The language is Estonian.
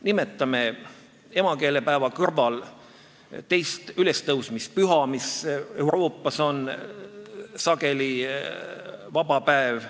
Nimetame emakeelepäeva kõrval teist ülestõusmispüha, mis Euroopas on sageli vaba päev.